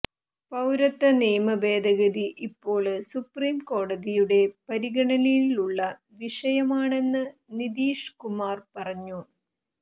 പൌരത്വ നിയമ ഭേദഗതി ഇപ്പോള് സുപ്രീം കോടതിയുടെ പരിഗണനയിലുള്ള വിഷയമാണെന്ന് നിതീഷ് കുമാര് പറഞ്ഞു